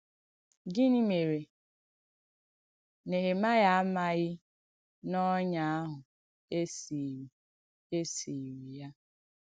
Gịnị́ mèrè Nèhèmàịà àmàghì n’ònyà àhụ̄ è sìirì è sìirì ya?